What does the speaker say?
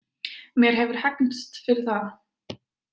Mér hefur hegnst fyrir það.